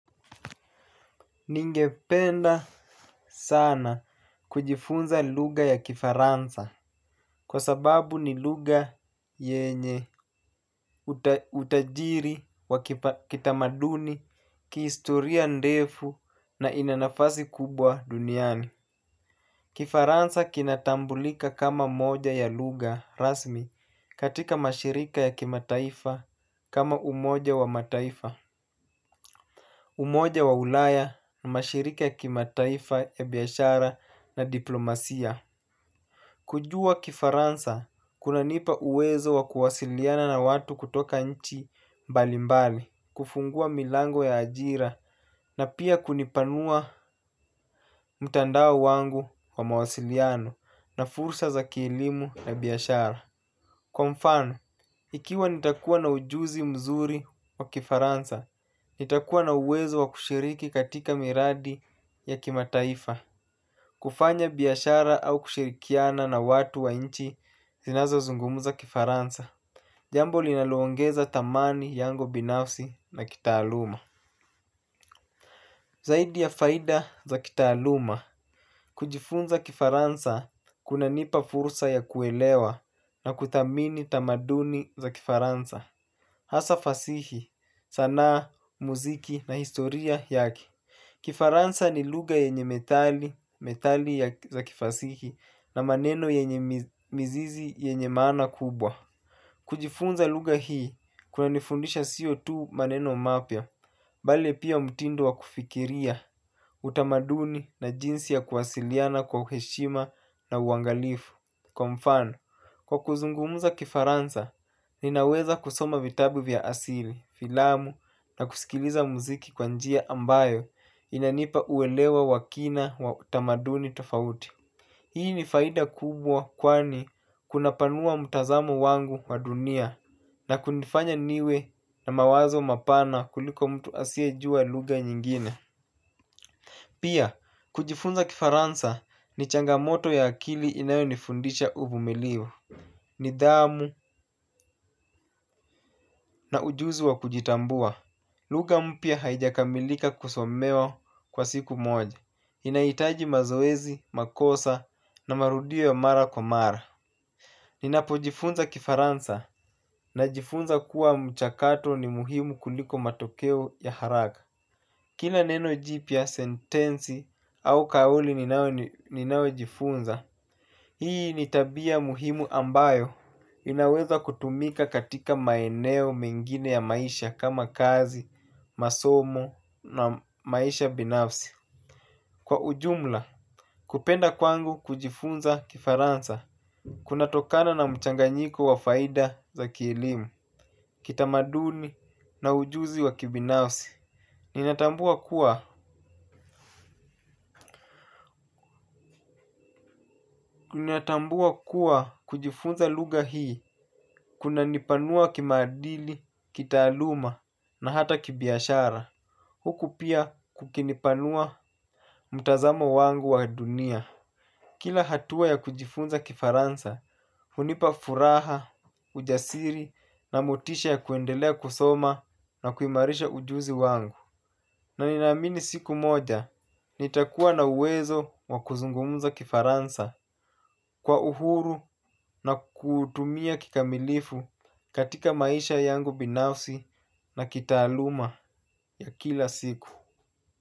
Ningependa sana kujifunza lugha ya kifaransa, kwa sababu ni lugha yenye utajiri wa kitamaduni, kihistoria ndefu na ina nafasi kubwa duniani. Kifaransa kinatambulika kama moja ya lugha rasmi katika mashirika ya kimataifa kama umoja wa mataifa, umoja wa ulaya na mashirika ya kimataifa ya biashara na diplomasia. Kujua kifaransa, kuna nipa uwezo wa kuwasiliana na watu kutoka nchi mbalimbali, kufungua milango ya ajira na pia kunipanua mtandao wangu wa mawasiliano na fursa za kielimu na biashara. Kwa mfano, ikiwa nitakuwa na ujuzi mzuri wa kifaransa, nitakuwa na uwezo wa kushiriki katika miradi ya kimataifa. Kufanya biashara au kushirikiana na watu wa inchi zinazo zungumuza kifaransa. Jambo linaloongeza dhamani yangu binafsi na kitaaluma. Zaidi ya faida za kitaaluma, kujifunza kifaransa kuna nipa fursa ya kuelewa na kudhamini tamaduni za kifaransa. Hasa fasihi, sanaa, muziki na historia yake. Kifaransa ni lugha yenye methali, methali za kifasihi na maneno yenye mizizi yenye maana kubwa. Kujifunza lugha hii kunanifundisha sio tu maneno mapya bali pia mtindo wakufikilia, utamaduni na jinsi ya kuwasiliana kwa heshima na uangalifu kwa mfano, kwa kuzungumza kifaransa, ninaweza kusoma vitabu vya asili, filamu na kusikiliza muziki kwa njia ambayo inanipa uelewa wa kina wa utamaduni tofauti. Hii ni faida kubwa kwani kuna panua mtazamo wangu wa dunia na kunifanya niwe na mawazo mapana kuliko mtu asie jua lugha nyingine. Pia, kujifunza kifaransa ni changamoto ya akili inayo nifundisha uvumilivu. Nidhamu na ujuzi wa kujitambua. Lugha mpya haijakamilika kusomewa kwa siku moja. Inahitaji mazoezi, makosa na marudio ya mara kwa mara. Ninapo jifunza kifaransa na jifunza kuwa mchakato ni muhimu kuliko matokeo ya haraka. Kila neno jipya, sentensi au kauli ninayo jifunza. Hii ni tabia muhimu ambayo inaweza kutumika katika maeneo mengine ya maisha kama kazi, masomo na maisha binafsi. Kwa ujumla, kupenda kwangu kujifunza kifaransa kuna tokana na mchanganyiko wa faida za kielimu kitamaduni na ujuzi wa kibinafsi. Ninatambua kuwa ninatambua kuwa kujifunza lugha hii kuna nipanua kimaadili, kitaaluma na hata kibiashara huku pia kukinipanua mtazamo wangu wa dunia. Kila hatua ya kujifunza kifaransa hunipa furaha, ujasiri na motisha ya kuendelea kusoma na kuimarisha ujuzi wangu na ninaamini siku moja, nitakuwa na uwezo wakuzungumza kifaransa kwa uhuru na kuutumia kikamilifu katika maisha yangu binafsi na kitaaluma ya kila siku.